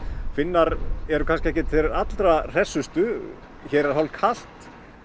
Finnar eru kannski ekki þeir allra hressustu hér er hálf kalt